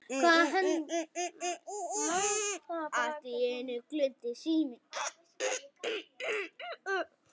Allt í einu glumdi síminn.